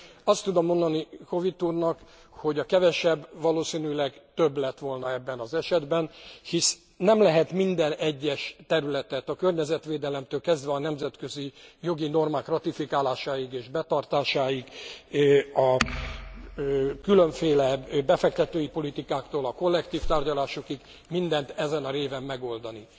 Azt tudom mondani Howitt úrnak, hogy a kevesebb valószínűleg több lett volna ebben az esetben, hisz nem lehet minden egyes területet, a környezetvédelemtől kezdve a nemzetközi jogi normák ratifikálásáig és betartásáig, a különféle befektetői politikáktól a kollektív tárgyalásokig, mindent ezen a réven megoldani.